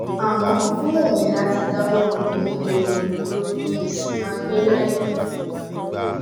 àmọ ó wù mí láti dáwọ òògùn oníhóró dúró kí n sì máa gbé láì um lòògùn